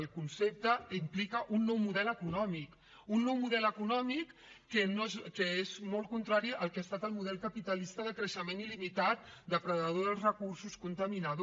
el concepte implica un nou model econòmic un nou model econòmic que és molt contrari al que ha estat el model capitalista de creixement il·limitat depredador dels recursos contaminador